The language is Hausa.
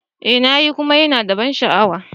Eh na yi kuma yana da ban sha'awa.